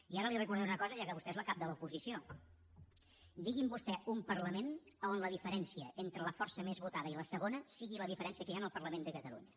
i ara li recordaré una cosa ja que vostè és la cap de l’oposició digui’m vostè un parlament on la diferència entre la força més votada i la segona sigui la diferència que hi ha en el parlament de catalunya